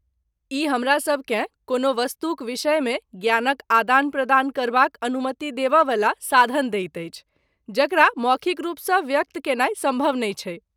ई हमरासबकेँ कोनो वस्तुक विषयमे ज्ञानक आदान प्रदान करबाक अनुमति देबय वला साधन दैत अछि जकरा मौखिक रूपसँ व्यक्त कयनाइ सम्भव नहि छैक।